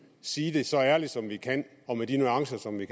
sige det så ærligt som vi kan og med de nuancer som vi